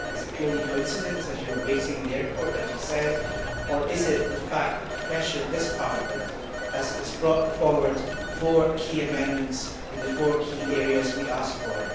Was it purely coincidence, as you were waiting in the airport as you said, or was it the fact that pressure by this Parliament has brought forward four key amendments in the four key areas we asked for?